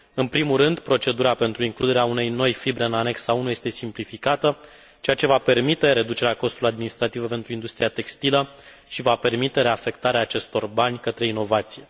În primul rând, procedura pentru includerea unei noi fibre în anexa 1 este simplificată, ceea ce va permite reducerea costurilor administrative pentru industria textilă și va permite reafectarea acestor bani către inovație.